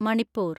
Manipur